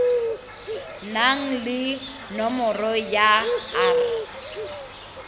nang le nomoro ya r